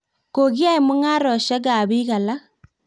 kokiyae mung'aresiekab biik alak